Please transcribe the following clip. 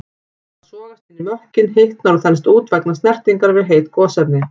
Það sogast inn í mökkinn, hitnar og þenst út vegna snertingar við heit gosefni.